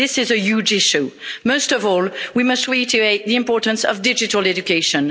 This is a huge issue. Most of all, we must reiterate the importance of digital education.